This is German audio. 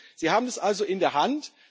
Frau Bulc, Sie haben es also in der Hand.